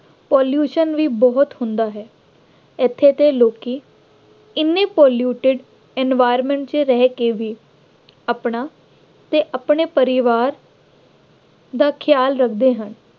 pollution ਵੀ ਬਹੁਤ ਹੁੰਦਾ ਹੈ। ਇੱਥੇ ਦੇ ਲੋਕੀ ਐਨੇ polluted environment ਰਹਿ ਕੇ ਵੀ ਆਪਣਾ ਅਤੇ ਆਪਣੇ ਪਰਿਵਾਰ ਦਾ ਖਿਆਲ ਰੱਖਦੇ ਹਨ।